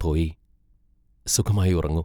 പോയി സുഖമായി ഉറങ്ങു.